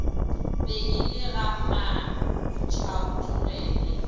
be e le ga mantšhaotlogele